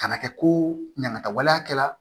Kana kɛ ko ɲamata waleya kɛla